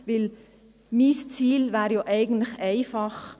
Mein Ziel wäre ja eigentlich einfach: